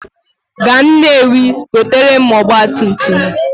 Gaa Nnewi goteere m ọgbatumtum!